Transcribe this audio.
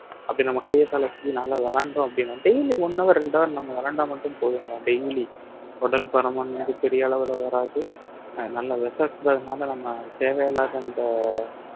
அப்படி நம்ம கையை காலை அசைச்சு நல்லா விளையாண்டோம் அப்படின்னா daily one hour ரெண்டு hour நம்ம விளையாண்டா மட்டும் போதுங்க daily உடல் பருமன் வந்து பெரிய அளவுல வராது அஹ் நல்ல நம்ம தேவையில்லாத அந்த